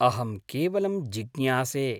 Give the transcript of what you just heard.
अहं केवलं जिज्ञासे।